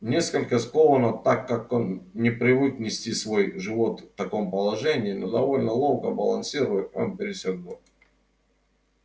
несколько скованно так как он не привык нести свой живот в таком положении но довольно ловко балансируя он пересёк двор